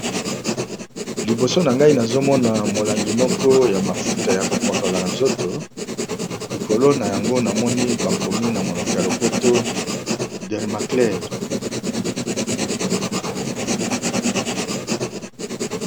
Liboso na ngai nazomona molangi moko ya mafuta ya kopokola na nzoto likolo na yango namoni bakomi na monoko ya lopoto Dermaclaire.